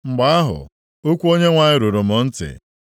Mgbe ahụ okwu Onyenwe anyị ruru m ntị,